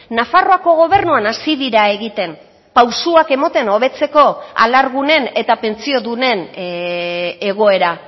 nafarroako gobernuan hasi dira egiten pausuak ematen hobetzeko alargunen eta pentsiodunen egoera